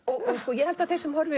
ég held að þeir sem horfa